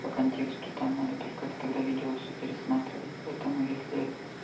по контексту там надо только это тогда видео всё пересматривать поэтому если